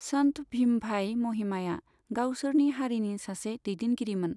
सन्त भीम भाई महिमाया गावसोरनि हारिनि सासे दैदेनगिरिमोन।